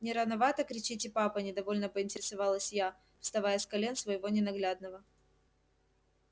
не рановато кричите папа недовольно поинтересовалась я вставая с колен своего ненаглядного